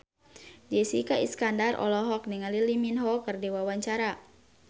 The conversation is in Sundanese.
Jessica Iskandar olohok ningali Lee Min Ho keur diwawancara